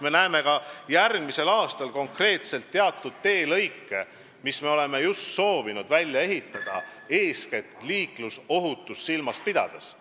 Me näeme ka järgmisel aastal konkreetselt ette teatud teelõigud, mis me soovime välja ehitada eeskätt liiklusohutust silmas pidades.